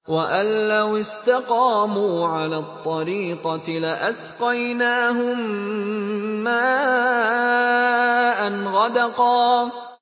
وَأَن لَّوِ اسْتَقَامُوا عَلَى الطَّرِيقَةِ لَأَسْقَيْنَاهُم مَّاءً غَدَقًا